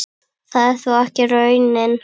Það er þó ekki raunin.